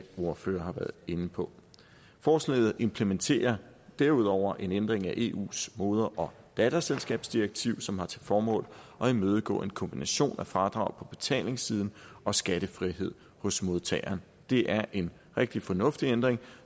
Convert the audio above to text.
ordførere også har været inde på forslaget implementerer derudover en ændring af eus moder datterselskabsdirektiv som har til formål at imødegå en kombination af fradrag på betalingssiden og skattefrihed hos modtageren det er en rigtig fornuftig ændring